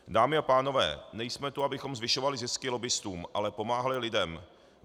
Dámy a pánové, nejsme tu, abychom zvyšovali zisky lobbistům, ale pomáhali lidem.